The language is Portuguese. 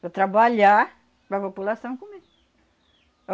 Para trabalhar, para população comer.